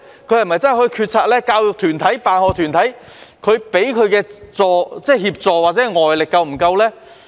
教育團體或辦學團體給予校長的協助或外力是否足夠呢？